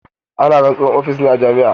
Ana rantsuwar ofis ne a jama'a.